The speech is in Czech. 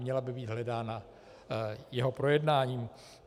Měla by být hledána jeho projednáním.